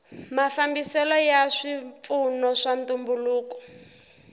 mafambiselo ya swipfuno swa ntumbuluko